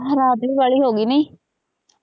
ਰਾਤ ਵੀ ਬਾਹਲੀ ਹੋਗੀ ਨਹੀਂ।